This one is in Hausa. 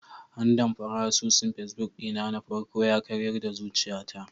Andamfara asusun facebook ɗina na farko yakaryar da zuciyata.